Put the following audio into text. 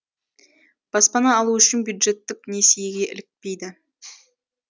баспана алу үшін бюджеттік несиеге ілікпейді